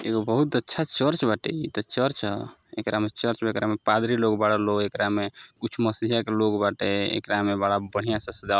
एगो बहुत अच्छा चर्च बाटे। ई तो चर्च ह। एकरा में चर्च बा एकरा में पादरी लोग बाड़े लोग एकरा में कुछ मसीहा के लोग बाटे एकरा में बड़ा बढ़िया से सजावल --